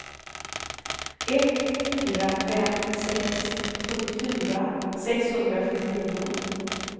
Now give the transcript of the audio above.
ett fyra fem sex sjuttiofyra sexhundrasjuttionio